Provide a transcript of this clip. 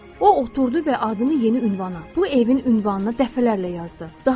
O oturdu və adını yeni ünvana, bu evin ünvanına dəfələrlə yazdı.